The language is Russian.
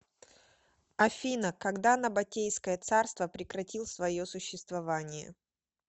афина когда набатейское царство прекратил свое существование